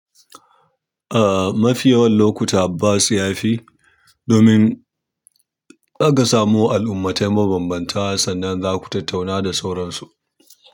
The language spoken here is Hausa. A'a mafi yawan lokuta bas ya fi domin aka samo al'ummatai ma banbanta sannan za ku tattauna da sauransu.